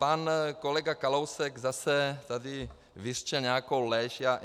Pan kolega Kalousek zase tady vyřkl nějakou lež.